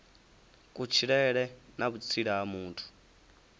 kutshilele na vhutsila ha muthu